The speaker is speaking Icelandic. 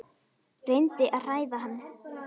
Reyndi að hræða hann.